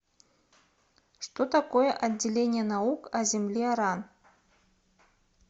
что такое отделение наук о земле ран